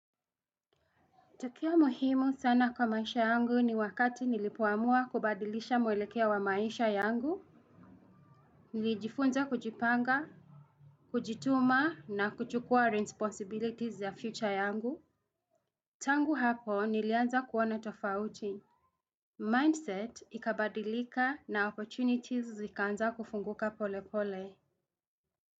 Tukio muhimu sana kwa maisha yangu ni wakati nilipoamua kubadilisha mwelekea wa maisha yangu. Nilijifunza kujipanga. Kujituma na kuchukua responsibilities za future yangu tangu hapo nilianza kuona tofauti Mindset ikabadilika na opportunities zikaanza kufunguka pole pole.